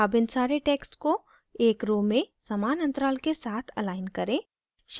अब इन सारे texts को एक row में समान अंतराल के साथ अलाइन करें